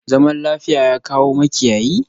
Zaman lafiya, ya kawo makiyayi?